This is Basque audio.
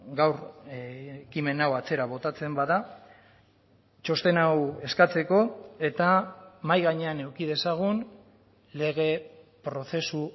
gaur ekimen hau atzera botatzen bada txosten hau eskatzeko eta mahai gainean eduki dezagun lege prozesu